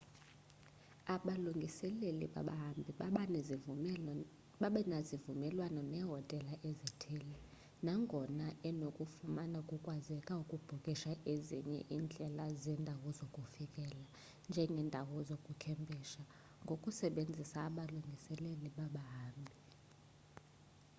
abalungiseleli babahambi babanezivumelwano nehotela ezithile nagona unokufumana kukwazeka ukubhukisha ezinye indlela zendawo zokufikela njengendawo zokukhempisha ngokusebenzisa abalungiseleli babahambi